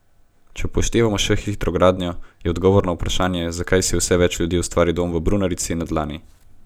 Če upoštevamo še hitro gradnjo, je odgovor na vprašanje, zakaj si vse več ljudi ustvari dom v brunarici, na dlani.